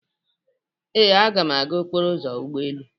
Ee, m ga-aga n'okporo ụzọ ụgbọ elu.